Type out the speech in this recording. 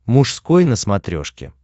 мужской на смотрешке